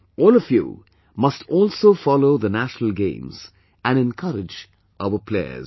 All of you must also follow the National Games and encourage our players